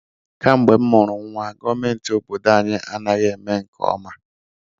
Kamgbe m mụrụ nnwa, gọọmentị obodo anyị anaghị eme nke ọma.